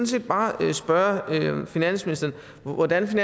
set bare spørge finansministeren hvordan